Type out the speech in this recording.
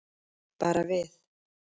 Bara við.